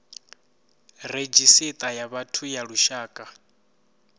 redzhisita ya vhathu ya lushaka